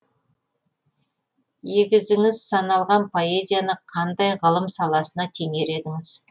егізіңіз саналған поэзияны қандай ғылым саласына теңер едіңіз